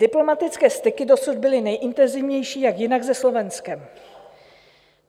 Diplomatické styky dosud byly nejintenzivnější, jak jinak, se Slovenskem.